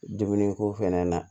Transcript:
Dumuni ko fɛnɛ na